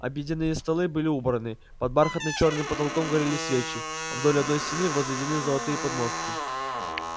обеденные столы были убраны под бархатно-чёрным потолком горели свечи вдоль одной стены возведены золотые подмостки